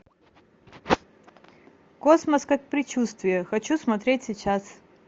космос как предчувствие хочу смотреть сейчас